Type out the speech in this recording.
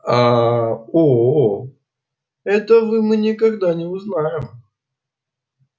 а оо этого мы никогда не узнаем